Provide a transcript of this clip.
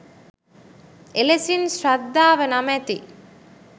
එලෙසින් ශ්‍රද්ධාව නමැති